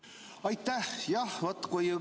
Aitäh!